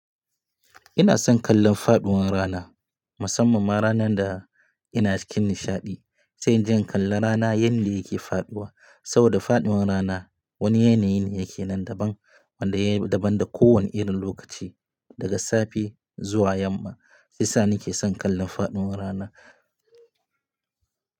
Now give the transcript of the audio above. Ina son kallon faɗuwar rana, musamman ma ranar da ina cikin nishaɗi. Sai inje in kalla rana yanda yake faɗuwa. Saboda faɗuwar rana wani yanayi ne yake nan daban wanda ya daban da kowane irin lokaci, daga safe zuwa yamma. Shiyasa ni ke son kallon faɗuwar rana.